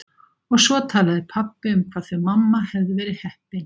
Og svo talaði pabbi um hvað þau mamma hefðu verið heppin!